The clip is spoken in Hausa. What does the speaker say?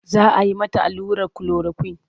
Za a yi mata allurar kulorakwin.